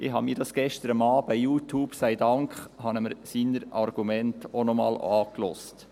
Ich habe mir gestern, Youtube sei Dank, seine Argumente auch noch einmal angehört.